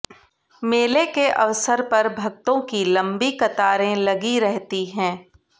मेले के अवसर पर भक्तों की लम्बी कतारें लगी रहती है